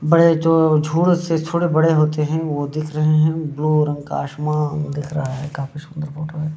बड़े जो झुर से थोड़े बड़े होते है वो दिख रहे है ब्लू रंग का आसमान दिख रहा है काफी सुंदर फोटो है।